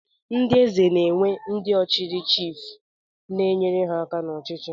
Ndị Eze na-enwe ndị ọ chiri chiif na-enyere ha aka n'ọchịchị